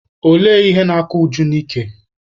Olee ihe na-akọ Uju n'ike?